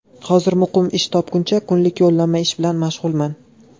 Hozir muqim ish topguncha kunlik yollanma ish bilan mashg‘ulman.